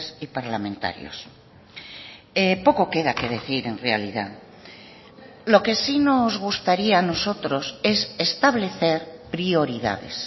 y parlamentarios poco queda que decir en realidad lo que sí nos gustaría a nosotros es establecer prioridades